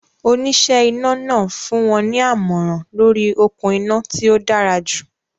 Oníṣẹ́ iná náà fún wọn ní àmọ̀ràn lóríi okún iná tí ó dára jù